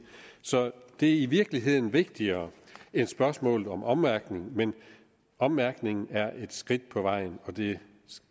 det er i virkeligheden vigtigere end spørgsmålet om ommærkning men ommærkning er et skridt på vejen og det